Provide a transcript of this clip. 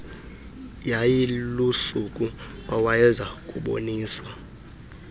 yayilusuku awayeza kuboniswa